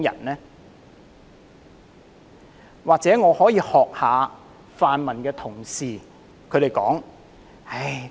我也許可以仿效泛民同事的說法："唉！